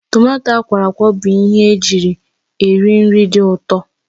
Tomato akwọrọakwọ bụ ihe eji eri nri dị ụtọ